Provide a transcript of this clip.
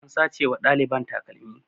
An sace wa ɗaliban takalmi